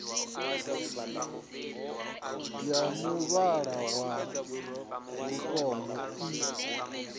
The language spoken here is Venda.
ya muvhala wa lutombo i